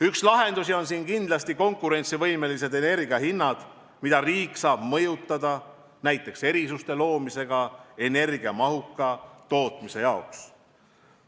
Üks lahendus on kindlasti konkurentsivõimelised energiahinnad, mida riik saab mõjutada näiteks erisuste loomisega energiamahuka tootmise jaoks.